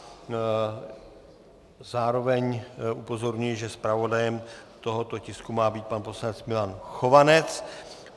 Zároveň upozorňuji, že zpravodajem tohoto tisku má být pan poslanec Milan Chovanec.